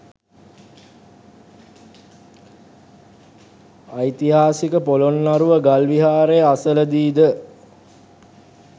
ඓතිහාසික පොළොන්නරුව ගල් විහාරය අසලදීද